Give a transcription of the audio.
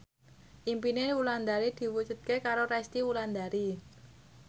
impine Wulandari diwujudke karo Resty Wulandari